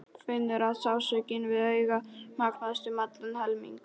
Finnur að sársaukinn við augað magnast um allan helming.